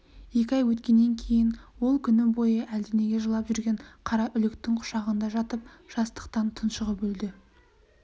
екі ай өткеннен кейін ол күні бойы әлденеге жылап жүрген қараүлектің құшағында жатып жастықтан тұншығып өлді